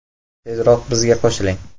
Tezroq bizga qo‘shiling!